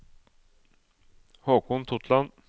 Håkon Totland